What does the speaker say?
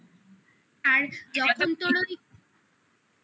আর যখন তোর